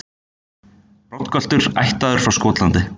Broddgöltur ættaður frá Skotlandi.